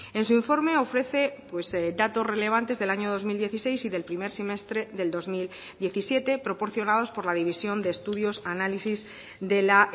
en su informe ofrece pues datos relevantes del año dos mil dieciséis y del primer semestre del dos mil diecisiete proporcionados por la división de estudios análisis de la